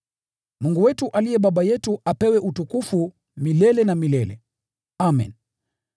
Mungu wetu aliye Baba yetu apewe utukufu milele na milele. Amen.